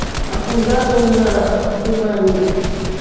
E afundaram o na o submarino.